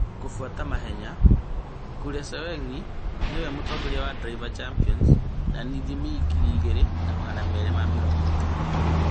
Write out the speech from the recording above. kũbuata mahenya, Keselowski now mũtongoria wa Drivers' Championship na ithimi ngiri igĩrĩ na magana meerĩ ma mĩrongo ĩtano